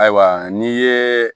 Ayiwa n'i ye